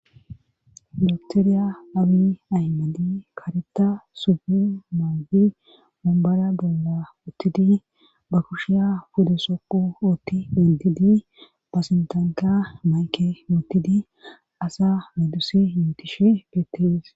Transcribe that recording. baktoriya awi ahimadi kareta sufi mawdi mumbara bolla uttidi ba kushiya fudesoqu ootti bentidi pasintanka mayke muottidi asa medusi yutish betteis